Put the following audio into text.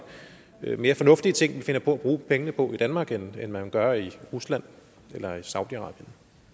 er mere fornuftige ting vi finder på at bruge pengene på i danmark end man gør i rusland eller i saudi arabien